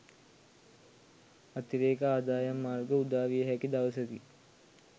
අතිරේක ආදායම් මාර්ග උදාවිය හැකි දවසකි.